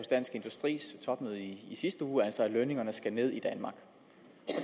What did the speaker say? dansk industris topmøde i sidste uge altså at lønningerne skal ned i danmark